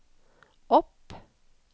opp